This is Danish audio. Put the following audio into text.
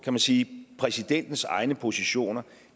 man sige præsidentens egne positioner